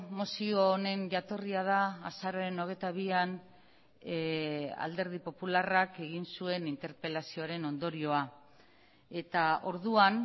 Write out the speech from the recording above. mozio honen jatorria da azaroaren hogeita bian alderdi popularrak egin zuen interpelazioaren ondorioa eta orduan